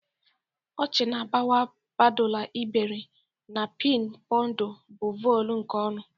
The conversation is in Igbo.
Ọchị na-agbawa, padulu iberi, na pin ponu bụ voli nke ọṅụ.